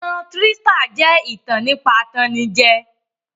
Ìtan trístà jẹ́ ìtàn nípa atannijẹ